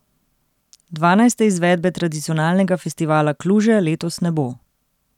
Dvanajste izvedbe tradicionalnega festivala Kluže letos ne bo.